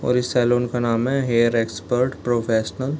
और इस सैलून का नाम है हेयर एक्सपर्ट प्रोफेशनल ।